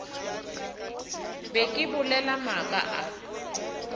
be ke bolela maaka a